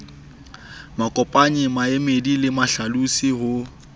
makopanyi maemedi le mahlalosi ho